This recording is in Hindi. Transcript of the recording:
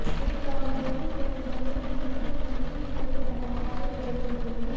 इन दोनों ही फिल्मों में उनकी मंझी हुई अदाकारी देखने को मिली